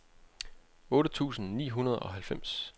otte tusind ni hundrede og halvfems